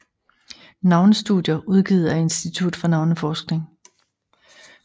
Navnestudier udgivet af Institut for Navneforskning